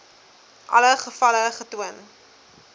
alle gevalle getoon